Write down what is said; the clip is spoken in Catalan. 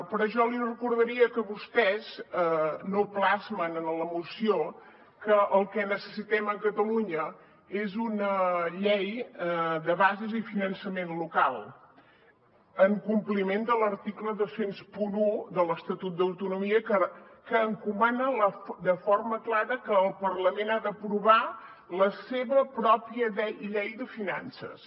però jo li recordaria que vostès no plasmen en la moció que el que necessitem a catalunya és una llei de bases i finançament local en compliment de l’article dos mil un de l’estatut d’autonomia que encomana de forma clara que el parlament ha d’aprovar la seva pròpia llei de finances